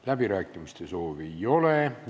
Läbirääkimiste soovi ei ole.